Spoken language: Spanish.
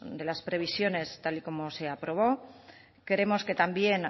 de las previsiones tal y como se aprobó creemos que también